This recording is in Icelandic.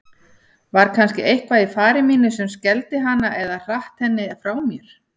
Var kannski eitthvað í fari mínu sem skelfdi hana eða hratt henni frá mér?